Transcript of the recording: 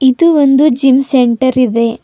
ಇದು ಒಂದು gym centre ಇದೆ.